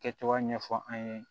Kɛcogoya ɲɛfɔ an ye